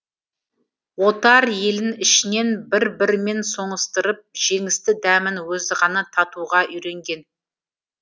отар елін ішінен бір бірімен соңыстырып жеңісті дәмін өзі ғана татуға үйренген